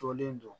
Jɔlen don